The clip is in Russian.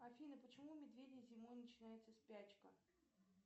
афина почему у медведей зимой начинается спячка